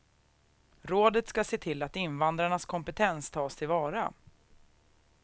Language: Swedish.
Rådet ska se till att invandrarnas kompetens tas till vara.